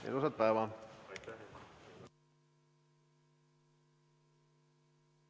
Ilusat päeva!